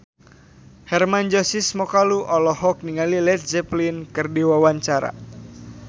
Hermann Josis Mokalu olohok ningali Led Zeppelin keur diwawancara